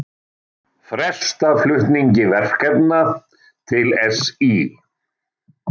Fresta flutningi verkefna til SÍ